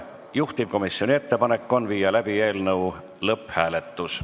Juhtivkomisjoni ettepanek on viia läbi eelnõu lõpphääletus.